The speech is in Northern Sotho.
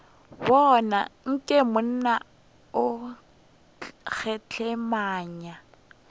bona nke monna o kgehlemanya